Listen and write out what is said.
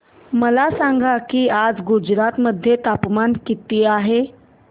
मला सांगा की आज गुजरात मध्ये तापमान किता आहे